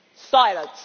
Silence.